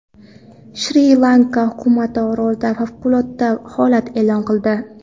Shri-Lanka hukumati orolda favqulodda holat e’lon qildi.